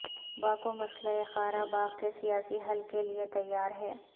Baku مسئلہ Karabakh کے سیاسی حل کے لئے تیار ہے